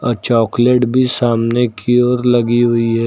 और चॉकलेट भी सामने की ओर लगी हुई है।